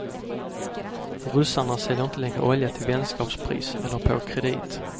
Ryssarna säljer inte längre olja till vänskapspris eller på kredit.